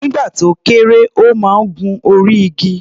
Nígbà tó kéré, ó máa ń gun orí igi.